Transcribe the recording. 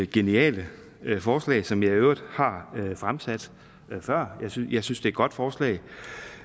geniale forslag som jeg i øvrigt har fremsat før jeg synes det er et godt forslag